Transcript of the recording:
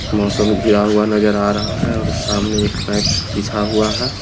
मौसम घिरा हुआ नजर आ रह है और समाने एक पेंप बिछा हुआ है।